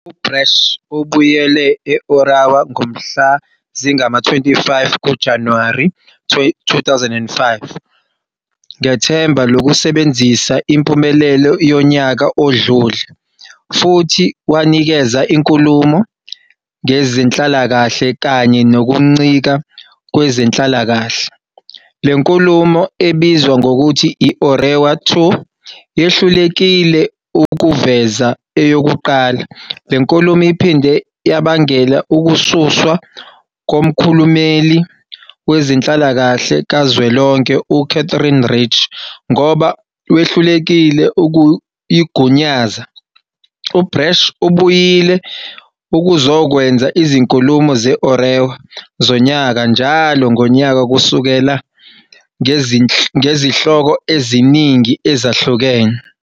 UBrash ubuyele e-Orewa ngomhla zingama-25 kuJanuwari 2005, ngethemba lokusebenzisa impumelelo yonyaka odlule, futhi wanikeza inkulumo ngezenhlalakahle kanye nokuncika kwezenhlalakahle. Le nkulumo, ebizwa ngokuthi i- Orewa 2, yehlulekile ukuveza eyokuqala. Le nkulumo iphinde yabangela ukususwa komkhulumeli wezenhlalakahle kaZwelonke u- Katherine Rich, ngoba wehlulekile ukuyigunyaza. U-Brash ubuyile ukuzokwenza 'izinkulumo ze-Orewa' zonyaka njalo ngonyaka kusukela, ngezihloko eziningi ezahlukene.